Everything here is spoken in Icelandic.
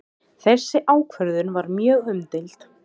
Þessi ákvörðun var mjög umdeild